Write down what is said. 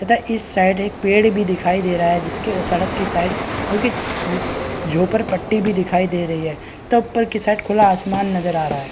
तथा इस साइड एक पेड़ भी दिखाई दे रहा है जिसके सड़क के साइड जो की झोपड़ पट्टी भी दिखाई दे रही है की साइड खुला आसमान नजर आ रहा है |